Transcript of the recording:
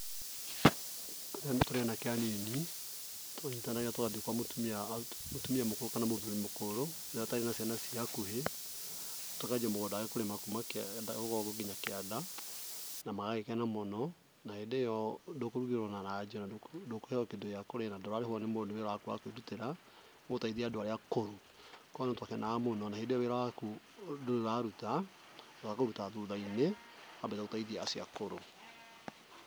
Tene tũrĩ anake anini twanyitanaga tũgathiĩ kwa mũtumia hau mũtumia mũkũrũ kana mũthuri mũkũrũ ũrĩa ũtarĩ na ciana ciĩ hakuhĩ, tũkanjia mũgũnda wake kũrĩma kuma kĩanda, rũgongo nginya kíĩnda, na magagĩkena mũno, na hĩndĩ ĩyo ndũkũrugĩrwo ona ranji ona ndũkũheo kĩndũ gĩa kũrĩa na ndũrarĩhwo nĩ mũndũ nĩ wĩra waku wa kwĩrutĩra gũteithia andũ arĩa akũrũ. No nĩ twakenaga mũno na hĩndĩ ĩyo wĩra waku ndũrĩ ũraruta, ũkũruta thutha-inĩ wambe ũteithie acio akũrũ.